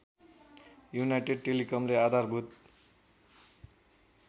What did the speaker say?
United टेलिकमले आधारभूत